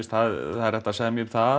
það er hægt að semja um það